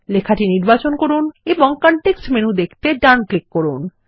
লেখাটি নির্বাচন করুন এবং কনটেক্সট মেনু দেখতে ডান ক্লিক করুন